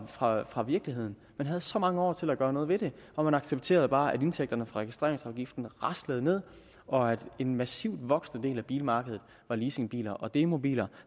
fra fra virkeligheden man havde så mange år til at gøre noget ved det og man accepterede bare at indtægterne fra registreringsafgiften raslede ned og at en massivt voksende del af bilmarkedet var leasingbiler og demobiler